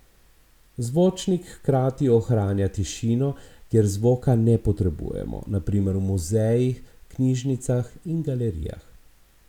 Zvočnik hkrati ohranja tišino, kjer zvoka ne potrebujemo, na primer v muzejih, knjižnicah in galerijah.